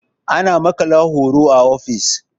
ana maƙala horo a ofis